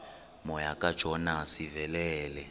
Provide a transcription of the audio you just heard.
moya kajona sivelele